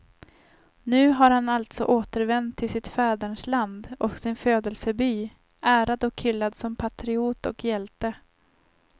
Nu har han alltså återvänt till sitt fädernesland och sin födelseby, ärad och hyllad som patriot och hjälte.